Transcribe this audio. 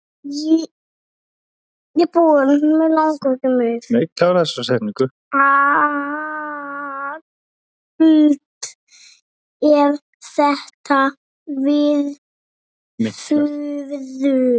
Allt eru þetta miklar furður.